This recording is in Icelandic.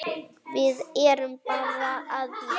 Við erum bara að bíða.